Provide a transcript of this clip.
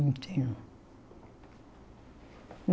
Não tinha.